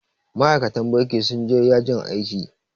Ma'aikatan banki sun je ya jin aiki